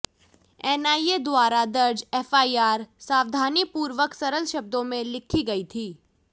NIA द्वारा दर्ज FIR सावधानीपूर्वक सरल शब्दों में लिखी गई थी